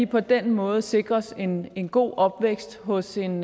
på den måde sikres en en god opvækst hos en